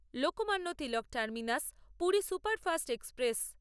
Lokmanya Tilak terminus Puri superfast express